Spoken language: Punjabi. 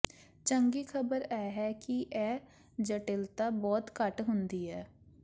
ਚੰਗੀ ਖ਼ਬਰ ਇਹ ਹੈ ਕਿ ਇਹ ਜਟਿਲਤਾ ਬਹੁਤ ਘੱਟ ਹੁੰਦੀ ਹੈ